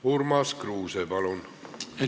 Urmas Kruuse, palun!